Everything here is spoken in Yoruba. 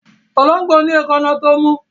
Ológbò ní èkáná tó mú